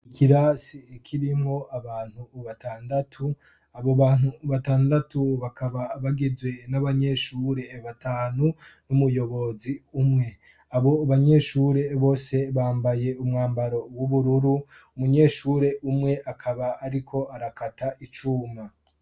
Ikirasi kirimwo abantu batandatu; abobantu batandatu bakaba bagizwe n'abanyeshure batanu n'umuyobozi umwe. Abobanyeshure bose bambaye umwambaro w'ubururu, umunyeshure umwe akaba ariko arakata icuma.